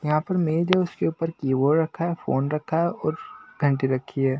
यहां पर मेज है उसके ऊपर कीबोर्ड रखा है फोन रखा है और घंटी रखी है।